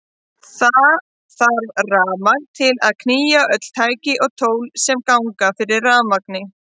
Það þarf rafmagn til að knýja öll tæki og tól sem ganga fyrir rafmagni.